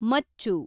ಮಚ್ಚು